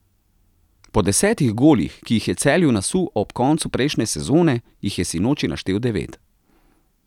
Po desetih golih, ki jih je Celju nasul ob koncu prejšnje sezone, jih je sinoči naštel devet.